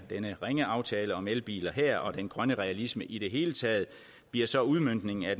denne ringe aftale om elbiler her og den grønne realisme i det hele taget bliver så udmøntningen af